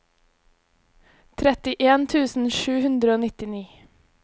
trettien tusen sju hundre og nittini